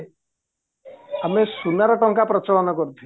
ଆମେ ସୁନାର ଟଙ୍କା ପ୍ରଚଳନ କରୁଥିଲେ